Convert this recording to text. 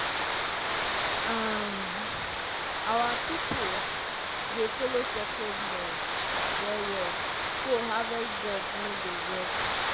um our pipo dey follow sacred laws well well so harvest gods no go vex.